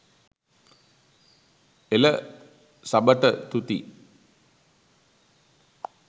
එල සබට තුති